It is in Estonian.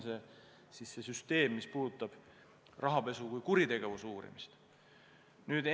Selline on rahapesu kui kuritegevuse uurimise süsteem.